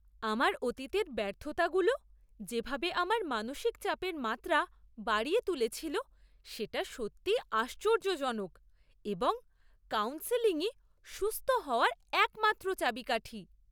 আমার অতীতের ব্যর্থতাগুলো যেভাবে আমার মানসিক চাপের মাত্রা বাড়িয়ে তুলেছিল সেটা সত্যিই আশ্চর্যজনক এবং কাউন্সেলিংই সুস্থ হওয়ার একমাত্র চাবিকাঠি।